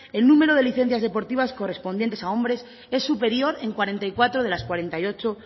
el número de licencias deportivas correspondientes a hombres es superior en cuarenta y cuatro de las cuarenta y ocho